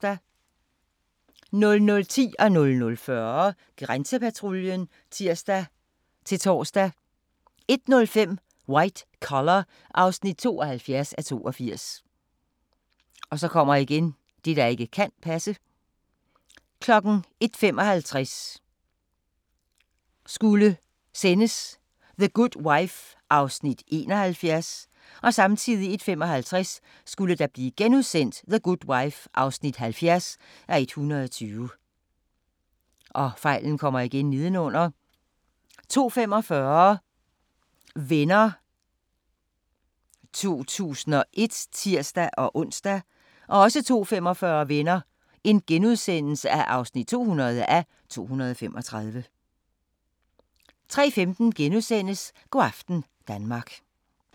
00:10: Grænsepatruljen (tir-tor) 00:40: Grænsepatruljen (tir-tor) 01:05: White Collar (72:82) 01:55: The Good Wife (71:120) 01:55: The Good Wife (70:120)* 02:45: Venner (201:235)(tir-ons) 02:45: Venner (200:235)* 03:15: Go' aften Danmark *